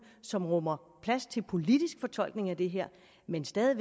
som rummer plads til politisk fortolkning af det her men stadig